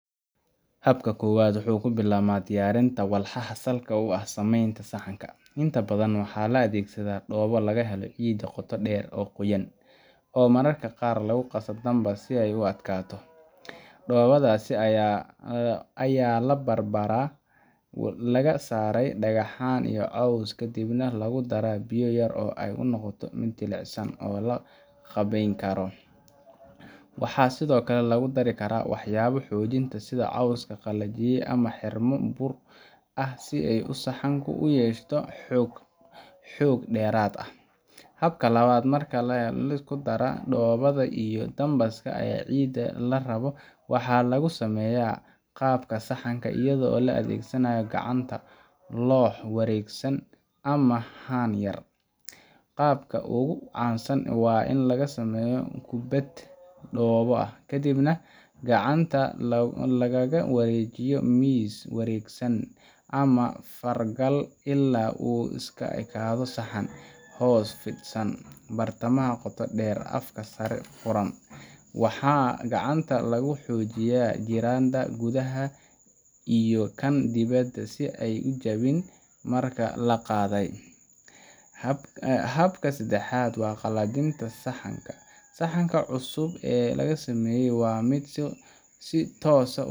Habka koowaad wuxuu ku bilaabmaa diyaarinta walxaha salka u ah samaynta saxanka. Inta badan waxaa la adeegsadaa dhoobo laga helo ciidda qoto dheer ee qoyan, oo mararka qaar lagu qasa dambas si ay u adkaato. Dhoobadaas ayaa la baar-baaray, laga saaray dhagaxaan iyo caws, kadibna lagu daraa biyo yar si ay u noqoto mid jilicsan oo la qaabayn karo. Waxaa sidoo kale lagu dari karaa waxyaabo xoojinaya sida caws la qalajiyay ama xirmo bur ah si uu saxanku u yeesho xoog dheeraad ah. Habka labaad, marka la helo isku-darka dhoobada iyo dambaska ama ciidda la rabo, waxaa lagu samaynayaa qaabka saxanka iyadoo la adeegsanayo gacanta, loox wareegsan, ama haan yar. Qaabka ugu caansan waa in la samaysto kubbad dhoobo ah, kadibna gacanta lagaga wareejiyo miis wareegsan ama fargal illaa uu u ekaado saxan – hoos fidsan, bartamaha qoto dheer, afka sare furan. Waxaa gacanta lagu xoojiyaa giraanta gudaha iyo kan dibadda si aan u jabin marka la qaaday. Habka saddexaad waa qalajinta saxanka. Saxanka cusub ee la sameeyay ma aha mid si toos